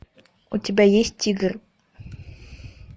у тебя есть тигр